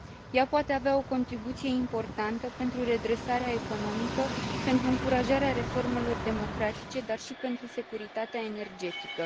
Ea poate avea o contribuție importantă la redresarea economică, la încurajarea reformelor democratice, dar și la securitatea energetică.